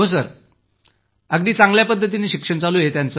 हो सर अगदी चांगल्या पद्धतीनं शिक्षण सुरू आहे